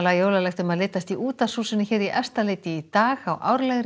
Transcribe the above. jólalegt um að litast í útvarpshúsinu í Efstaleiti í dag á árlegri